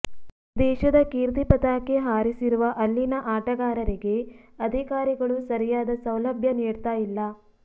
ದೇಶದ ಕೀರ್ತಿ ಪತಾಕೆ ಹಾರಿಸಿರುವ ಅಲ್ಲಿನ ಆಟಗಾರರಿಗೆ ಅಧಿಕಾರಿಗಳು ಸರಿಯಾದ ಸೌಲಭ್ಯ ನೀಡ್ತಾ ಇಲ್ಲ